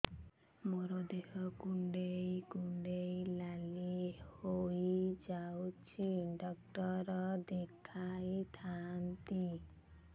ମୋର ଦେହ କୁଣ୍ଡେଇ କୁଣ୍ଡେଇ ନାଲି ହୋଇଯାଉଛି ଡକ୍ଟର ଦେଖାଇ ଥାଆନ୍ତି